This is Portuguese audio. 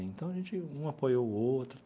Então, a gente um apoiou o outro.